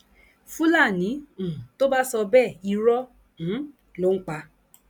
fúlàní um tó bá sọ bẹẹ irọ um ló ń pa